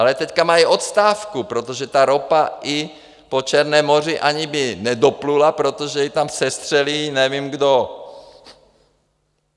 Ale teď mají odstávku, protože ta ropa i po Černém moři ani by nedoplula, protože ji tam sestřelí nevím kdo.